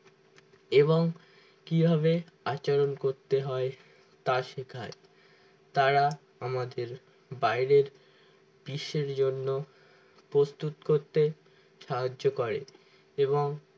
এবং কিভাবে আচরণ করতে হয় তা শেখায় তারা আমাদের বাইরের বিশ্বের জন্য প্রস্তুত করতে সাহায্য করে এবং